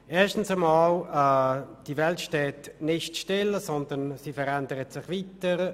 Erstens steht die Welt nicht still, sondern sie verändert sich weiter.